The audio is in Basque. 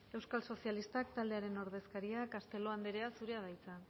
euskal sozialistak taldearen ordezkaria castelo andrea zurea da hitza